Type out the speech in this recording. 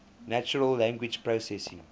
natural language processing